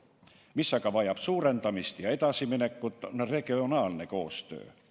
Mis aga vajab tihendamist ja edasiminekut, on regionaalne koostöö.